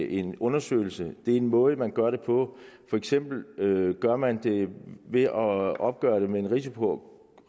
en undersøgelse det er en måde man gør det på for eksempel gør man det ved at opgøre det med en risiko